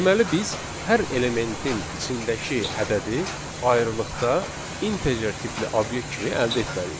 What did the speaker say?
Deməli biz hər elementin içindəki ədədi ayrıqda integer tipli obyekt kimi əldə etməliyik.